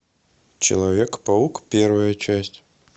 человек паук первая часть